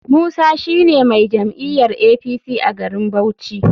Musa shine mai jam'iyar apc a garin bauchi.